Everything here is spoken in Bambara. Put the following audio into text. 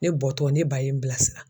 Ne bɔtɔ ne ba ye n bilasira.